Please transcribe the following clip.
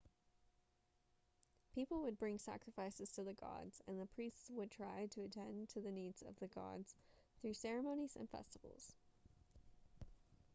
people would bring sacrifices to the gods and the priests would try to attend to the needs of the gods through ceremonies and festivals